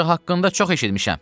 Ancaq haqqında çox eşitmişəm.